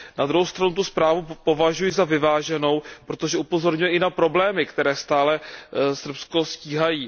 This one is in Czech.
Na druhou stranu tu zprávu považuji za vyváženou, protože upozorňuje i na problémy, které stále Srbsko stíhají.